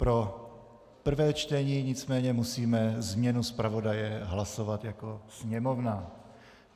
Pro prvé čtení nicméně musíme změnu zpravodaje hlasovat jako Sněmovna.